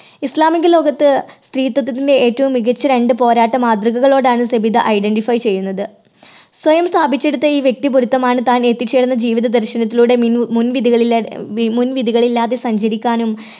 ഇസ്ലാമിക ലോകത്ത് സ്ത്രീത്വത്തിന്റെ ഏറ്റവും മികച്ച രണ്ട് പോരാട്ട മാതൃകകളോടാണ് സബിത identify ചെയ്യുന്നത്. സ്വയം സ്ഥാപിച്ചെടുത്ത ഈ വ്യക്തി പൊരുത്തമാണ് താൻ എത്തിച്ചേർന്ന ജീവിത ദർശനത്തിലൂടെ മു മുൻ വിധികളില്ലാതെ, മുൻ വിധികളില്ലാതെ സഞ്ചരിക്കാനും